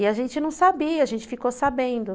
E a gente não sabia, a gente ficou sabendo.